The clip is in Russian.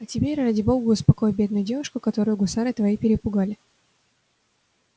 а теперь ради бога успокой бедную девушку которую гусары твои перепугали